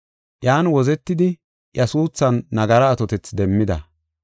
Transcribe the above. Iyan wozetidi iya suuthan nagara atotethi demmida.